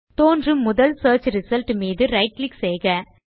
தோன்றும் முதல் search result மீது right கிளிக் செய்க